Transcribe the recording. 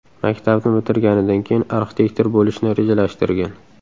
Maktabni bitirganidan keyin arxitektor bo‘lishni rejalashtirgan.